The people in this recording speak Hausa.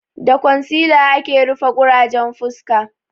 Da kwansila ake rufe ƙurajen fuska